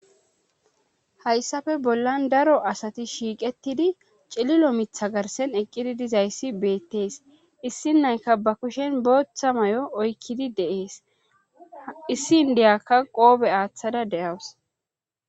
Hayssafe bollan daro asati shiiqettidi cililo mitha garsen eqqidi dizayssi beettees issi nayka ba kushen booththa may'o oykkidi deees issi ndeyakka qoobe aaththada de'awus